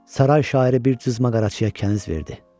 Saray şairi bir cızma-qaraçıya kəniz verdi.